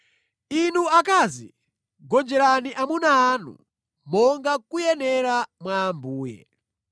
Inu akazi, gonjerani amuna anu, monga kuyenera mwa Ambuye.